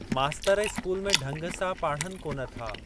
मास्तर इस्कूल में ढंग सां पाढ़नि कोन था।